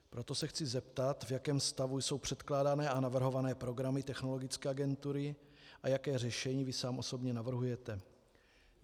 Proto se chci zeptat, v jakém stavu jsou předkládané a navrhované programy Technologické agentury a jaké řešení vy sám osobně navrhujete.